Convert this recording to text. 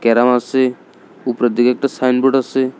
আসে উপরের দিকে একটা সাইনবোর্ড আসে।